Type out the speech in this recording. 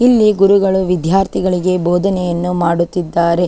ಇಲ್ಲಿ ಗುರುಗಳು ವಿದ್ಯಾರ್ಥಿಗಳಿಗೆ ಬೋಧನೆಯನ್ನು ಮಾಡುತ್ತಿದ್ದಾರೆ .